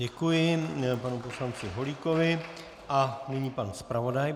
Děkuji panu poslanci Holíkovi a nyní pan zpravodaj.